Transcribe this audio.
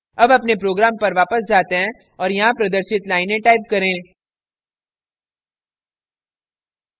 अब अपने program पर वापस जाते हैं और यहाँ प्रदर्शित लाइनें type करें